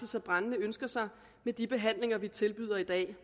så brændende ønsker sig med de behandlinger vi tilbyder i dag det